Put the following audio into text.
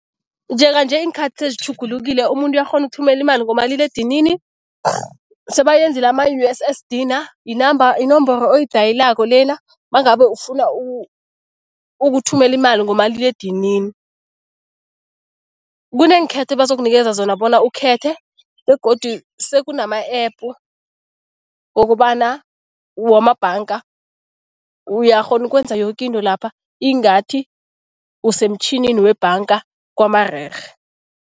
Njenganje iinkhathi sezitjhugulukile umuntu uyakghona ukuthumela imali ngomaliledinini. Sebayenzile ama-U_S_S_D na, yi-number, yinomboro oyidayilako lena nangabe ufuna ukuthumela imali ngomaliledinini. Kuneenkhetho ebazokunikeza zona bona ukhethe begodu sekunama-epu wokobana, wamabhanga. Uyakghona ukwenza yoke into lapha, ingathi usemtjhinini webhanga kwamarerhe.